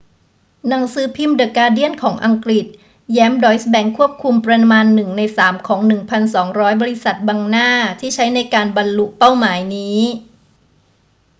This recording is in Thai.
หนังสือพิมพ์เดอะการ์เดียนของอังกฤษแย้มดอยซ์แบงก์ควบคุมประมาณหนึ่งในสามของ 1200 บริษัทบังหน้าที่ใช้ในการบรรลุเป้าหมายนี้